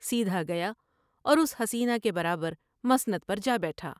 سیدھا گیا اور اس حسینہ کے برا بر مسند پر جا بیٹھا ۔